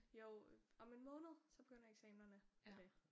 Jo om en måned så begynder eksaminerne og det